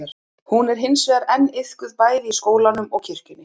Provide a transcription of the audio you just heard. hún er hins vegar enn iðkuð bæði í skólanum og kirkjunni